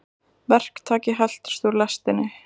Verktaki heltist úr lestinni